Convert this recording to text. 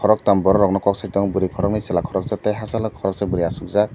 koroktam borok rogno koksai tongo boroi koroknoi chela koroksa tei hachalo koroksa boroi asukjak.